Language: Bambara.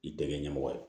I tɛ kɛ ɲɛmɔgɔ ye